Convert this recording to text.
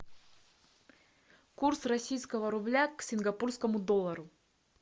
курс российского рубля к сингапурскому доллару